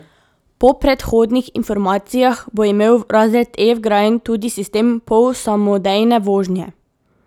Po predhodnih informacijah bo imel razred E vgrajen tudi sistem polsamodejne vožnje.